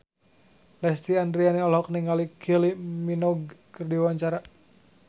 Lesti Andryani olohok ningali Kylie Minogue keur diwawancara